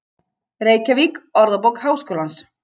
Reykjavík: Orðabók Háskólans.